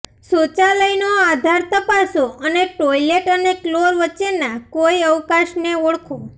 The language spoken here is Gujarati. શૌચાલયનો આધાર તપાસો અને ટોઇલેટ અને ફ્લોર વચ્ચેના કોઈ અવકાશને ઓળખો